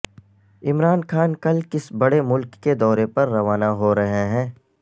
عمران خان کل کس بڑے ملک کے دورے پر روانہ ہو رہے ہیں